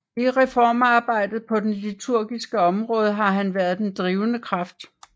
I reformarbejdet på det liturgiske område har han været den drivende kraft